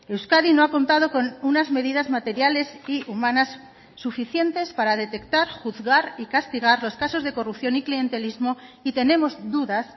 euskadi no ha contado con unas medidas materiales y humanas suficientes para detectar juzgar y castigar los casos de corrupción y clientelismo y tenemos dudas